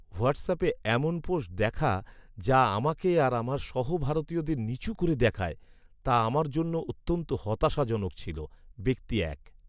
হোয়াটসঅ্যাপে এমন পোস্ট দেখা যা আমাকে আর আমার সহ ভারতীয়দের নিচু করে দেখায়, তা আমার জন্য অত্যন্ত হতাশাজনক ছিল। ব্যক্তি এক